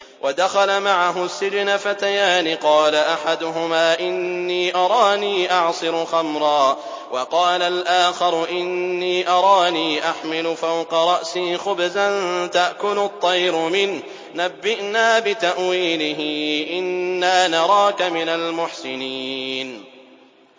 وَدَخَلَ مَعَهُ السِّجْنَ فَتَيَانِ ۖ قَالَ أَحَدُهُمَا إِنِّي أَرَانِي أَعْصِرُ خَمْرًا ۖ وَقَالَ الْآخَرُ إِنِّي أَرَانِي أَحْمِلُ فَوْقَ رَأْسِي خُبْزًا تَأْكُلُ الطَّيْرُ مِنْهُ ۖ نَبِّئْنَا بِتَأْوِيلِهِ ۖ إِنَّا نَرَاكَ مِنَ الْمُحْسِنِينَ